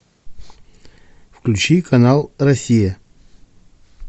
включи канал россия